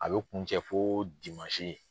A bɛ kuncɛ fo dimansi.